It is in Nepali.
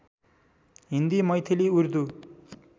हिन्दी मैथिली उर्दू